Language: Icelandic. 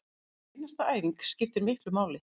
Hver einasta æfing skiptir miklu máli